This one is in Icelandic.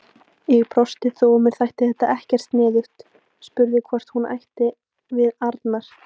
Ég brosti þó að mér þætti þetta ekkert sniðugt, spurði hvort hún ætti við Arnar.